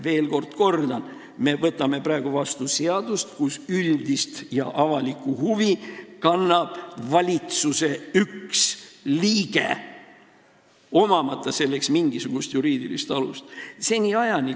Veel kord ma kordan, et me võtame praegu vastu seadust, kus üldist ja avalikku huvi esindab valitsuse üks liige, omamata selleks mingisugust juriidilist alust.